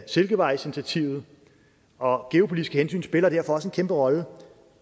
silkevejsinitiativet og geopolitiske hensyn spiller derfor også en kæmpe rolle